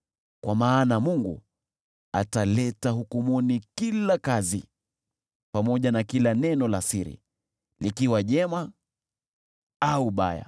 Kwa maana Mungu ataleta hukumuni kila kazi, pamoja na kila neno la siri, likiwa jema au baya.